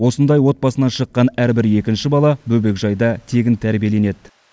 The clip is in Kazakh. осындай отбасынан шыққан әрбір екінші бала бөбекжайда тегін тәрбиеленеді